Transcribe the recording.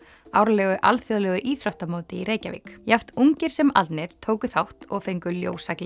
árlegu alþjóðlegu íþróttamóti í Reykjavík jafn ungir sem aldnir tóku þátt og fengu